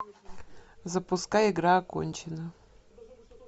запускай игра окончена